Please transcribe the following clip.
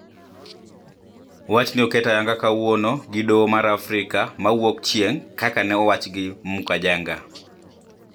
Wachni oket ayanga kawuono gi doho mar Afrika ma wuok chieng` kaka ne owach gi Mukajanga